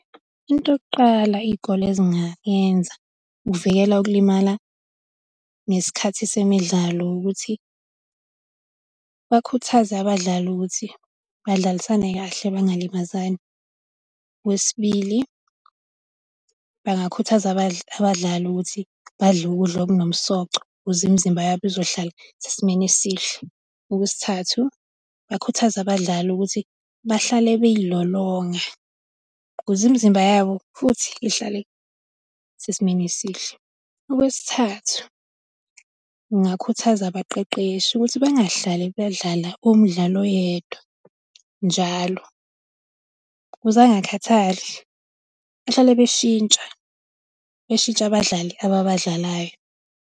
Into yokuqala iy'kole ezingayenza ukuvikela ukulimala ngesikhathi semidlalo ukuthi bakhuthaze abadlali ukuthi badlalisane kahle bangalimazani. Okwesibili, bangakhuthaza abadlali ukuthi badle ukudla okunomsoco ukuze imizimba yabo izohlale isesimeni esihle. Okwesithathu, bakhuthaze abadlali ukuthi bahlale bey'lolonga ukuze imizimba yabo futhi ihlale isesimeni esihle. Okwesithathu, ngingakhuthaza abaqeqeshi ukuthi bengahlale bedlala umdlali oyedwa njalo, ukuze angakhathali, bahlale beshintsha, bashintshe nabadlali ababadlalayo.